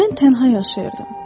Mən tənha yaşayırdım.